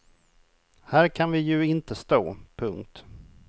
Här kan vi ju inte stå. punkt